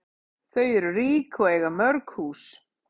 Þau eru rík og eiga mörg hús.